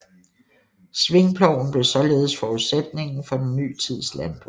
Svingploven blev således forudsætningen for den ny tids landbrug